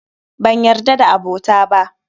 Banyarda da abota ba.